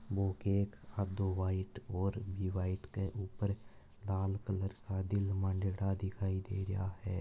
यो cake आधो white और भी व्हाइट के ऊपर लाल कलर का दिल मांडेडा दिखाई दे रहा है।